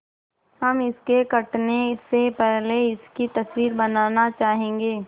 हम इसके कटने से पहले इसकी तस्वीर बनाना चाहेंगे